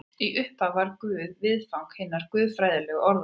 Í upphafi var Guð viðfang hinnar guðfræðilegu orðræðu.